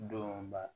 Donba